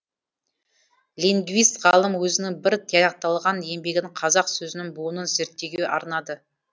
лингвист ғалым өзінің бір тияқталған еңбегін қазақ сөзінің буынын зерттеуге арнады